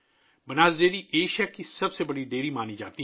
بناس dairy Asia کی سب سے بڑی ڈیری سمجھی جاتی ہے